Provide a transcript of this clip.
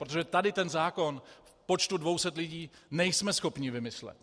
Protože tady ten zákon v počtu 200 lidí nejsme schopni vymyslet.